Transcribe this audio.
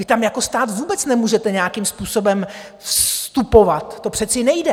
Vy tam jako stát vůbec nemůžete nějakým způsobem vstupovat, to přece nejde.